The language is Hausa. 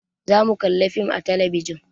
Za mu kalla fim a talabijin